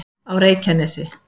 á reykjanesi